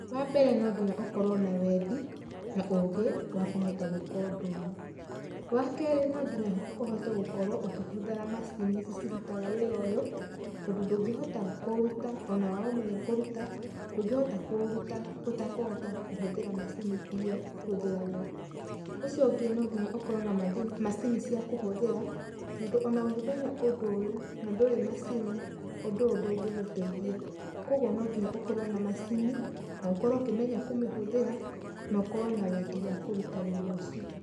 Wa mbere no nginya ũkorwo na wendi, na ũgĩ wa kũhota gwĩka ũndũ ũyũ. Wa kerĩ no nginya ũhote gũkorwo ũkĩhũthĩra macini ici cirutaga wĩra ũyũ, tondũ ndũngĩhota kũũruta ona waũmenya kũũruta, ndũngĩhota kũũruta ũtakohata kũhũthĩra macini iria ihũthĩragwo. Ũcio ũngĩ no nginya ũkorwo na macini cia kũhũthĩra, tondũ ona ũngĩmenya ũndũ ũyũ na ndũrĩ macini, ũndũ ũyũ ndũngĩgũteithia. Kogwo no nginya ũkorwo na macini, na ũkorwo ũkimenya kũmĩhũthĩra, na ũkorwo na wendi wa kũruta wĩra ũcio.